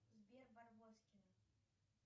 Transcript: сбер барбоскины